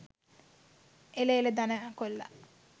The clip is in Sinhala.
එල එල ධනා කොල්ල.